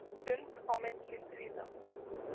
Stund á milli stríða